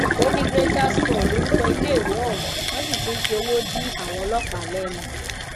ó ní greater scal lorúkọ iléèwé ohùn wọn sì ti ń fi owó dí àwọn ọlọpàá lẹnu